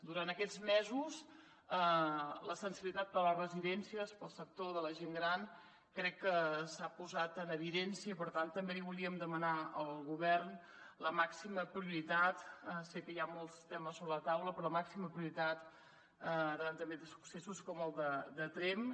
durant aquests mesos la sensibilitat per les residències pel sector de la gent gran crec que s’ha posat en evidència i per tant també li volíem demanar al govern la màxima prioritat sé que hi ha molts temes sobre la taula però la màxima prioritat davant també de successos com el de tremp